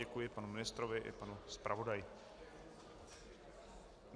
Děkuji panu ministrovi i panu zpravodaji.